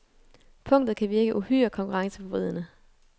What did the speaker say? Punktet kan virke uhyre konkurrenceforvridende.